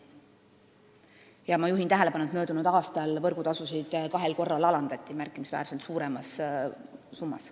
Ja ma juhin tähelepanu, et möödunud aastal alandati võrgutasusid kahel korral märkimisväärselt suuremas summas.